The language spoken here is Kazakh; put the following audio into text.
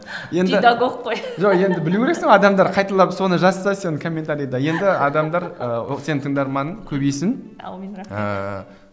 педагог қой жоқ енді білу керексің ғой адамдар қайталап соны жазса сен комментариде енді адамдар ыыы сенің тыңдарманың көбейсін әумин рахмет ыыы